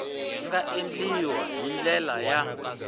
nga endliwa hi ndlela ya